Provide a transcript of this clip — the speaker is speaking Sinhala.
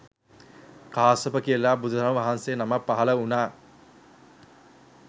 කාශ්‍යප කියලා බුදුරජාණන් වහන්සේ නමක් පහළ වුණා